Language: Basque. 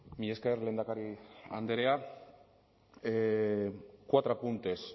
mila esker lehendakari andrea cuatro apuntes